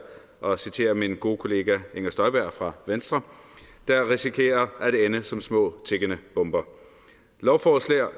mig at citere min gode kollega inger støjberg fra venstre risikerer at ende som små tikkende bomber lovforslaget